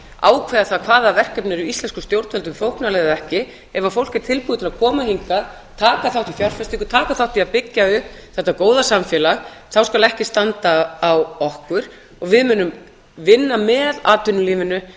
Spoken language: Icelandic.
ákveða það hvaða verkefni eru íslenskum stjórnvöldum þóknanleg og hvaða ekki ef fólk er tilbúið til að koma hingað taka þátt í fjárfestingu taka þátt í að byggja upp þetta góða samfélag þá skal ekki standa á okkur og við munum vinna með atvinnulífinu